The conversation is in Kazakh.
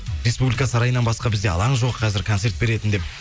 республика сарайынан басқа бізде алаң жоқ қазір концерт беретін деп